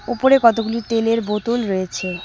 উপরে কতগুলি তেলের বোতল রয়েছে।